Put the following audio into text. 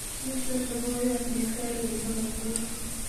miten logoyot neter en bolotet